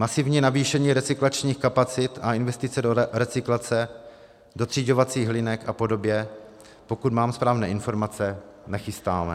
Masivní navýšení recyklačních kapacit a investice do recyklace, dotřiďovacích linek a podobně, pokud mám správné informace, nechystáme.